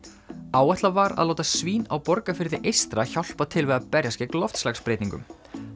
áætlað var að láta svín á Borgarfirði eystra hjálpa til við að berjast gegn loftslagsbreytingum